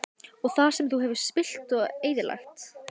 Og það sem þú hefur spillt og eyðilagt?